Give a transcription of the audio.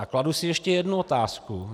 A kladu si ještě jednu otázku.